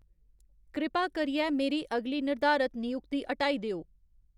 कृपा करियै मेरी अगली निर्धारत नयुक्ति हटाई देओ